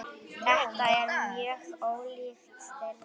Þetta er mjög ólíkt þeirri